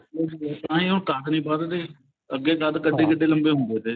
ਉਹੀ ਫੇਰ ਤਾਂਹੀ ਉਹ ਕੱਦ ਨੀ ਵੱਧਦੇ ਅੱਗੇ ਕੱਦ ਕਿੱਡੇ ਕਿੱਡੇ ਲੰਬੇ ਹੁੰਦੇ ਤੇ